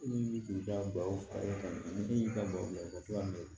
baw far'e kan ani e y'i ka baro bila u bɛ to ka